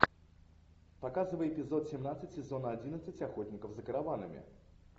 показывай эпизод семнадцать сезона одиннадцать охотников за караванами